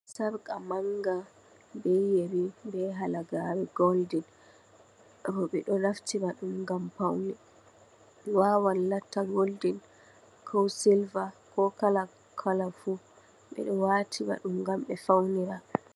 Sarka manga, be yeri, be halagari golding, roɓe ɗo naftira ɗum gam paune, wawa Latta goldin ko silva ko kala kala fu, ɓeɗo watira ɗum gam ɓe faunira.